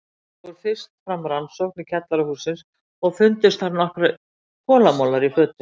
Fór fyrst fram rannsókn í kjallara hússins og fundust þar nokkrir kolamolar í fötu.